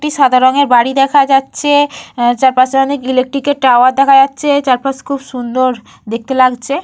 একটি সাদা রংয়ের বাড়ি দেখা যাচ্ছে। চারপাশে অনেক ইলেক্ট্রিকের টাওয়ার দেখা যাচ্ছে। চারপাশ খুব সুন্দর দেখতে লাগছে।